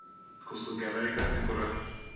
ku sukela eka siku ra